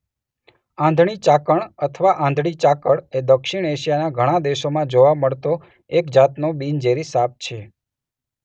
આંધળી ચાકણ અથવા આંધળી ચાકળ એ દક્ષિણ એશિયાના ઘણા દેશોમાં જોવા મળતો એક જાતનો બિનઝેરી સાપ છે.